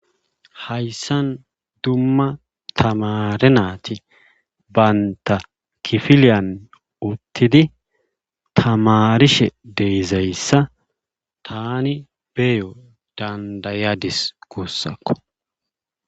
Hayssan dumma tamaare naati dumma bantta kifiliyan uttidi tamaarishe de7izayssa taani beyo danddayadis guussako.